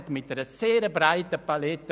– Das ist der Fall.